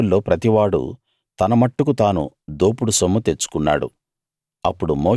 ఆ సైనికుల్లో ప్రతివాడూ తన మట్టుకు తాను దోపుడు సొమ్ము తెచ్చుకున్నాడు